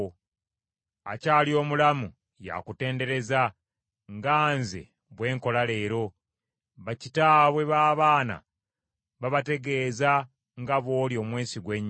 Akyali omulamu, y’akutendereza nga nze bwe nkola leero; bakitaabwe b’abaana babategeeza nga bw’oli omwesigwa ennyo.